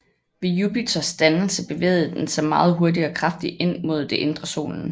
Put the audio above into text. Ved Jupiters dannelse bevægede den sig meget hurtigt og kraftigt ind mod det indre Solen